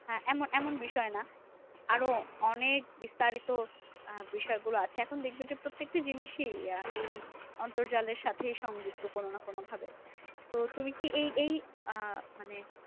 হ্যাঁ এমন এমন বিষয় না? আরো অনেক বিস্তারিত আহ বিষয় গুলো আছে এখন দেখবে যে, প্রত্যেকটি জিনিসই এই অন্তর্জালের সাথে সংযুক্ত কোনো না কোনোভাবে। তো তুমি কি এই এই আহ মানে